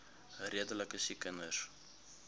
redelike siek kinders